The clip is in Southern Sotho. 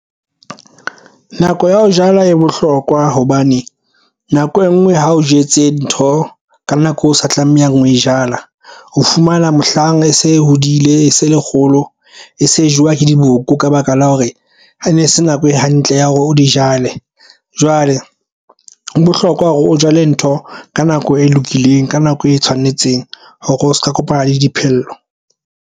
Nako ya ho jala e bohlokwa hobane nako e nngwe ha o jetse ntho ka nako o sa tlamehang ho e jala. O fumana mohlang e se e hodile e se le kgolo e se jewang ke diboko ka baka la hore a ne se nako e hantle ya hore o di jale. Jwale ho bohlokwa hore o jale ntho ka nako e lokileng ka nako e tshwanetseng hore o se ka kopana le diphello.